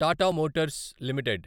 Tata motors limited